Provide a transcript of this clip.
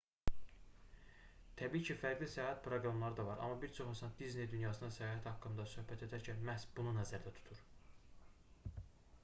təbii ki fərqli səyahət proqramları da var amma bir çox insan disney dünyasına səyahət haqqında söhbət edərkən məhz bunu nəzərdə tutur